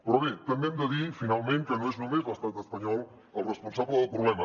però bé també hem de dir finalment que no és només l’estat espanyol el responsable del problema